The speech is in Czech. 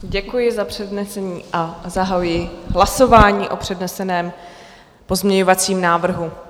Děkuji za přednesení a zahajuji hlasování o předneseném pozměňovacím návrhu.